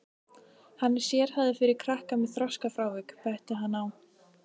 Hann er sérhæfður fyrir krakka með þroskafrávik, benti hann á.